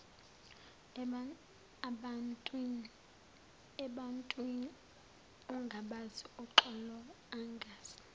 ebantwin ongabazi uxoloangazi